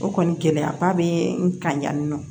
O kɔni gɛlɛyaba bɛ n kan yan nɔ